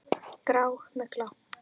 Grá. mygla!